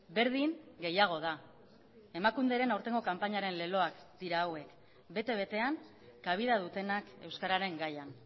berdin gehiago da emakunderen aurtengo kanpainaren leloak dira hauek bete betean kabida dutenak euskararen gaian